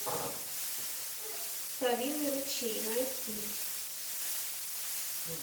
совиный ручей найти